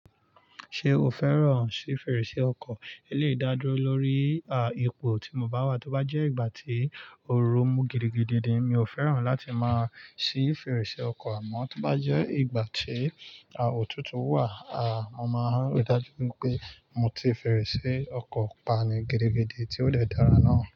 Ṣé o fẹ́ràn sí fèrèsé ọkọ̀? Eléyi dá dúró lórí à ìpò tí mo bá wà. Tó bá jẹ́ ìgbà tí òru mú gidigidi emi ò fẹ́ràn láti máa ṣí fèrèsé ọkọ̀ àmọ́ tó bá jẹ́ ìgbà tí à òtútù wà, a mo máa rí dájú pé mo ti fèrèsé ọkọ̀ pa ni gidigidi tí ó lè dára náà.